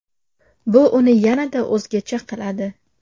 Bu uni yanada o‘zgacha qiladi.